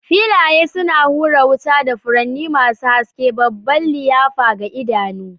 Filaye suna hura wuta da furanni masu haske, babban liyafa ga idanu.